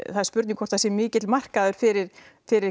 það er spurning hvort það sé mikill markaður fyrir fyrir